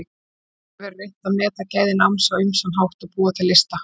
Samt hefur verið reynt að meta gæði náms á ýmsan hátt og búa til lista.